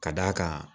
Ka d'a kan